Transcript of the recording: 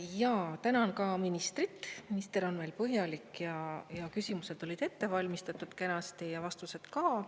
Ja tänan ka ministrit, minister on meil põhjalik ja küsimused olid ette valmistatud kenasti ja vastused ka.